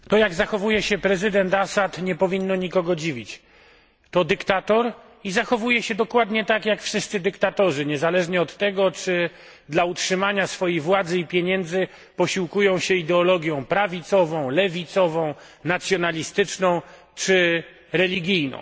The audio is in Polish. Pani Przewodniczący! To, jak zachowuje się prezydent Assad, nie powinno nikogo dziwić. To dyktator i zachowuje się dokładnie tak jak wszyscy dyktatorzy niezależnie od tego, czy dla utrzymania swojej władzy i pieniędzy posiłkują się ideologią prawicową, lewicową, nacjonalistyczną czy religijną.